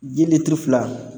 Ji litiri fila